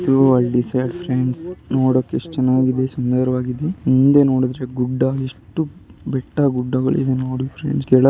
ಇದು ಹಳ್ಳಿ side friends ನೋಡಕ್ ಎಷ್ಟ್ ಚೆನ್ನಾಗಿದೆ ಸುಂದರವಾಗಿದೆ ಮುಂದೆ ನೋಡುದ್ರೆ ಗುಡ್ಡ ಎಷ್ಟು ಬೆಟ್ಟ ಗುಡ್ಡಗಳಿದೆ ನೋಡಿ ಫ್ರೆಂಡ್ಸ್ ಕೆಳಗೆ --